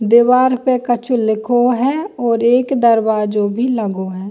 दीवार पे कछू लिखो है और एक दरवाजो भी लगो है।